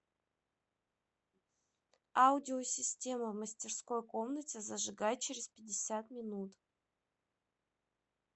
аудиосистема в мастерской комнате зажигай через пятьдесят минут